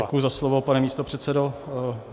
Děkuji za slovo, pane místopředsedo.